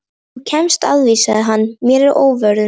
Þú kemst að því sagði hann mér að óvörum.